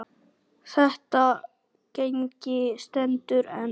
Þetta gengi stendur enn.